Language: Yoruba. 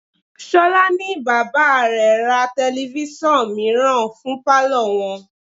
Ṣolá ní bàbá rẹ̀ ra telifísàn mìíràn fún palo wọn.